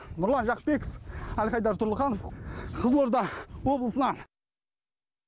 нұрлан жақыпбеков әлхайдар тұрлыханов қызылорда облысынан